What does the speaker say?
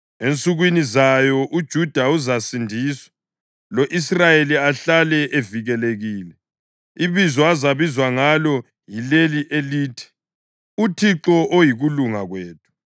Ensukwini zayo uJuda uzasindiswa, lo-Israyeli ahlale evikelekile. Ibizo azabizwa ngalo yileli elithi: UThixo Oyikulunga Kwethu.”